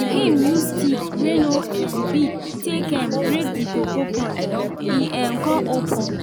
him use stick wey no um big take um break the cocoa pod e um con open